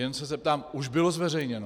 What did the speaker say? Jen se zeptám: Už bylo zveřejněno?